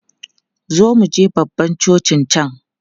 Zo muje babban cocin can!